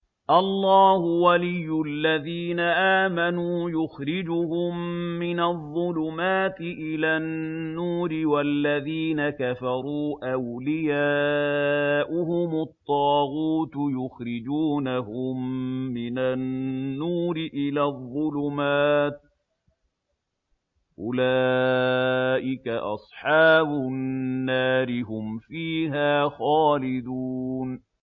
اللَّهُ وَلِيُّ الَّذِينَ آمَنُوا يُخْرِجُهُم مِّنَ الظُّلُمَاتِ إِلَى النُّورِ ۖ وَالَّذِينَ كَفَرُوا أَوْلِيَاؤُهُمُ الطَّاغُوتُ يُخْرِجُونَهُم مِّنَ النُّورِ إِلَى الظُّلُمَاتِ ۗ أُولَٰئِكَ أَصْحَابُ النَّارِ ۖ هُمْ فِيهَا خَالِدُونَ